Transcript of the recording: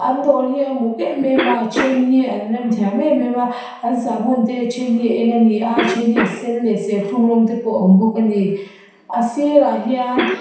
an dawr hi a muk em em a a then hi an rem thiam em em a an sahbawn te a then hi a eng ani a a then hi a sen leh serthlum rawng te pawh a awm bawk ani a sirah hian --